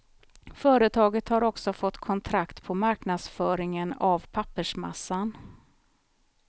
Företaget har också fått kontrakt på marknadsföringen av pappersmassan.